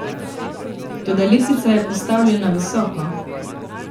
Toda letvica je postavljena visoko.